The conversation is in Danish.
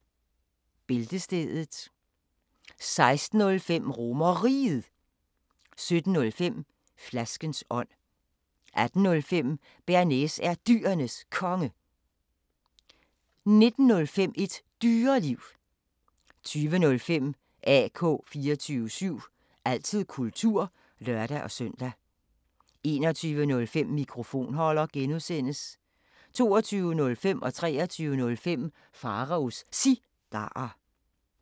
16:05: RomerRiget 17:05: Flaskens ånd 18:05: Bearnaise er Dyrenes Konge 19:05: Et Dyreliv 20:05: AK 24syv – altid kultur (lør-søn) 21:05: Mikrofonholder (G) 22:05: Pharaos Cigarer 23:05: Pharaos Cigarer